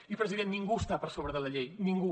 i president ningú està per sobre de la llei ningú